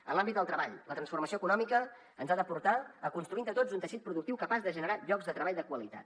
en l’àmbit del treball la transformació econòmica ens ha de portar a construir entre tots un teixit productiu capaç de generar llocs de treball de qualitat